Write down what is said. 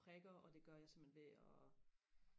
prikker og det gør jeg simpelthen ved og